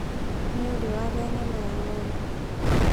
Nĩ uri warĩa nyama ya ng'ondu